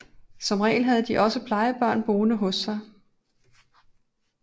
Som regel havde de også plejebørn boende hos sig